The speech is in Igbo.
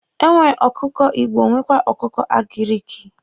E nwere ọkụkọ igbo nwekwa ọkụkọ agiriki.